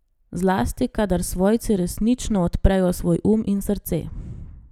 Zlasti, kadar svojci resnično odprejo svoj um in srce.